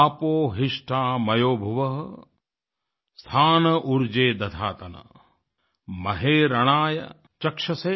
आपो हिष्ठा मयो भुवः स्था न ऊर्जे दधातन महे रणाय चक्षसे